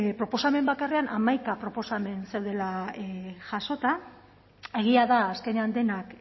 proposamen bakarrean hamaika proposamen dela jasota egia da azkenean denak